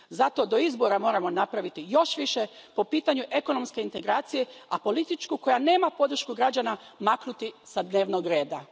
Zato do izbora moramo napraviti još više po pitanju ekonomske integracije, a političku, koja nema podršku građana, maknuti s dnevnog reda.